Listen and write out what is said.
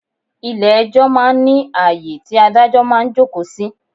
Ilẹ̀ ẹjọ́ máa ń ní ayé tí Ádájọ́ máa ń jókòó sí.